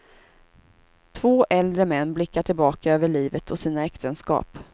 Två äldre män blickar tillbaka över livet och sina äktenskap.